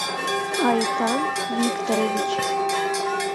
айтан викторович